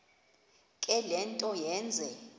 le nto yenze